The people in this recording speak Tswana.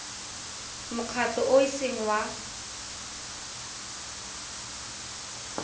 mokgatlho o o seng wa